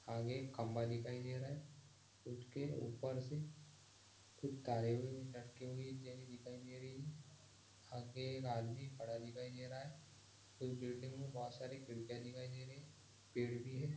आगे एक खंभा दिखाई दे रहा हैं ऊपर से खूब तारे लटके हुये दिखाई दे रही हैं आगे एक आदमी खड़ा दिखाई दे रहा हैं ये बिल्डिंग में बहुत सारी खिड़कियाँ दिखाई दे रही हैं पेड़ भी हैं।